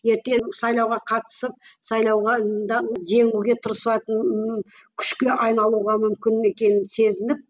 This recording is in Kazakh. ертең сайлауға қатысып сайлауға да жеңуге тырысатынын күшке айналуға мүмкін екенін сезініп